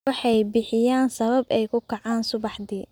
Waxay bixiyaan sabab ay ku kacaan subaxdii.